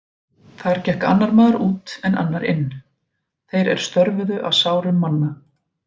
Þar gekk annar maður út en annar inn, þeir er störfuðu að sárum manna.